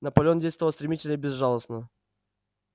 наполеон действовал стремительно и безжалостно